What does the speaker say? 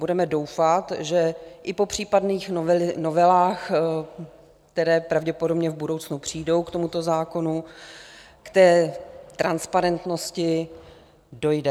Budeme doufat, že i po případných novelách, které pravděpodobně v budoucnu přijdou k tomuto zákonu, k té transparentnosti dojde.